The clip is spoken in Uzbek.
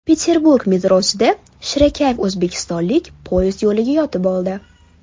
Peterburg metrosida shirakayf o‘zbekistonlik poyezd yo‘liga yotib oldi.